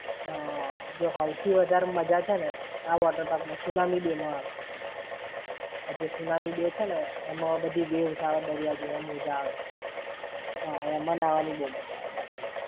હા, જો હઉથી વધારે મજા છે ને આ water park માં tsunami bay માં આવે. આ જે tsunami bay છે ને, એમાં બધી waves આવે, દરિયા જેવા મોજા આવે! એમાં નાવની મજા બવ આવે બાકી.